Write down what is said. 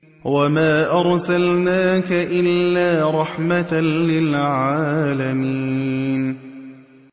وَمَا أَرْسَلْنَاكَ إِلَّا رَحْمَةً لِّلْعَالَمِينَ